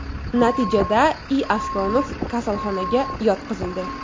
Natijada I. Aslonov kasalxonaga yotqizildi.